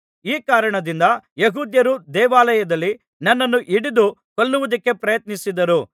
ಈ ಕಾರಣದಿಂದ ಯೆಹೂದ್ಯರು ದೇವಾಲಯದಲ್ಲಿ ನನ್ನನ್ನು ಹಿಡಿದು ಕೊಲ್ಲುವುದಕ್ಕೆ ಪ್ರಯತ್ನಿಸಿದರು